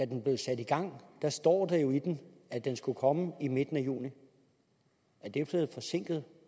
den blev sat i gang stod der jo i den at den skulle komme i midten af juni er det så forsinket